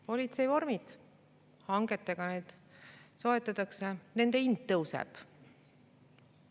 Politseivormid, hangetega neid soetatakse, nende hind tõuseb.